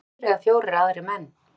Þar voru þrír eða fjórir aðrir menn.